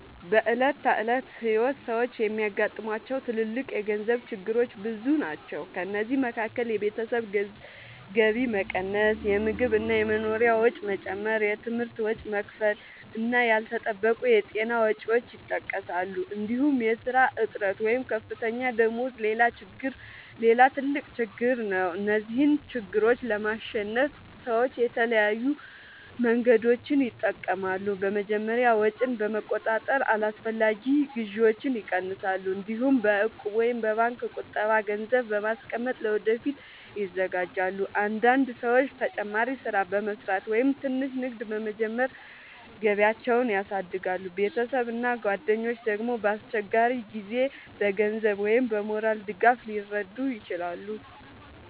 በዕለት ተዕለት ሕይወት ሰዎች የሚያጋጥሟቸው ትልልቅ የገንዘብ ችግሮች ብዙ ናቸው። ከእነዚህ መካከል የቤተሰብ ገቢ መቀነስ፣ የምግብ እና የመኖሪያ ወጪ መጨመር፣ የትምህርት ወጪ መክፈል እና ያልተጠበቁ የጤና ወጪዎች ይጠቀሳሉ። እንዲሁም የሥራ እጥረት ወይም ዝቅተኛ ደመወዝ ሌላ ትልቅ ችግር ነው። እነዚህን ችግሮች ለማሸነፍ ሰዎች የተለያዩ መንገዶችን ይጠቀማሉ። በመጀመሪያ ወጪን በመቆጣጠር አላስፈላጊ ግዢዎችን ይቀንሳሉ። እንዲሁም በእቁብ ወይም በባንክ ቁጠባ ገንዘብ በማስቀመጥ ለወደፊት ይዘጋጃሉ። አንዳንድ ሰዎች ተጨማሪ ሥራ በመስራት ወይም ትንሽ ንግድ በመጀመር ገቢያቸውን ያሳድጋሉ። ቤተሰብ እና ጓደኞች ደግሞ በአስቸጋሪ ጊዜ በገንዘብ ወይም በሞራል ድጋፍ ሊረዱ ይችላሉ።